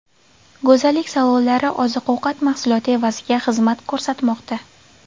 Go‘zallik salonlari oziq-ovqat mahsuloti evaziga xizmat ko‘rsatmoqda.